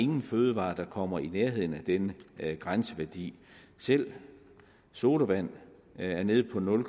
nogen fødevarer der kommer i nærheden af denne grænseværdi selv sodavand er nede på nul